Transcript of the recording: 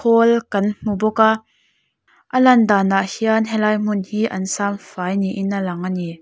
pawl kan hmu bawk a a lan danah hian helai hmun hi an siam fai niin a lang ani.